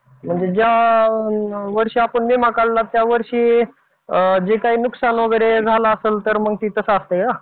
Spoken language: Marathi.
म्हणजे ज्या वर्षी आपण विमा काढला त्या वर्षी जे काही नुकसान वगैरे झालं असेल तर मग ते तसं असतंय का?